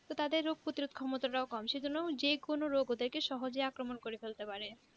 তাদের রোগ প্রতিরোধের ক্ষমতাটাও কম সেইজন্য যে কোনো রোগ ওদেরকে সহজে আক্রমণ করে ফেলতে পারে